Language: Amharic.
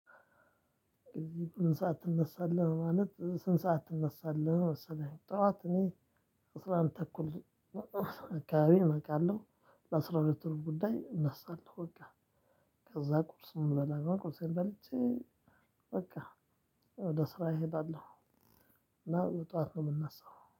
ምን ሰዓት ትነሳለህ? ማለት ስንት ሰዓት ትነሳለህ? መሰለኝ ጠዋት እኔ አስራ አንድ ተኩል አካባቢ እነውቃለሁ ለአስራ ሁለት ሩብ ጉዳይ እነሳለው በቃ ከዛ ቁርስ ነው የምበላው ቁርሴን በልቼ በቃ ወደ ስራ እሄዳለሁ በጠዋት ነው የምነሳው።